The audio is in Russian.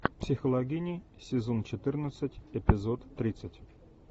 психологини сезон четырнадцать эпизод тридцать